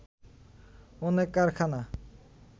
অনেক কারখানা